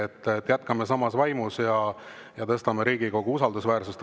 Nii et jätkame samas vaimus ja tõstame Riigikogu usaldusväärsust.